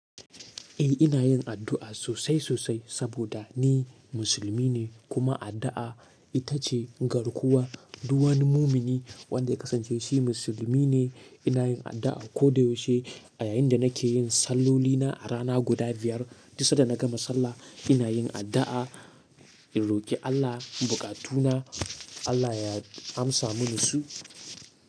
Eh ina yin addu'a sosai sosai saboda ni musulmi ne kuma addu'a ita ce garkuwa. Duk wani mumini wanda ya kasance shi musulmi ne. Ina yin addu'a koda yaushe a yayin da nake yin sallolina a rana guda biyar. Duk sanda na gama sallah ina yin addu'a, in roki Allah bukatuna Allah ya amsa mini su.